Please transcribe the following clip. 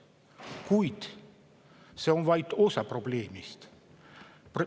Kuid see on vaid osa probleemist.